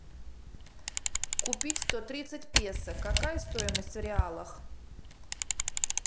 купить сто тридцать песо какая стоимость в реалах